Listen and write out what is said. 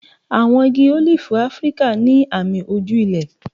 Àwọn igi ólífì Áfíríkà ní àmì ojú ilẹ̀.